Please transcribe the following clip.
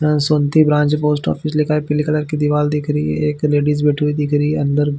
जन साथी branch post office लिखा है पीले कलर की दीवाल दिख रही है एक लेडीज बैठी हुई दिख रही है अंदर--